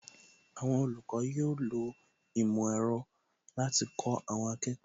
Àwọn olùkọ́ yóò lo ìmò ẹ̀rọ láti kó àwọn akẹ́kọ̀ọ́